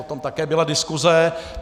O tom také byla diskuse.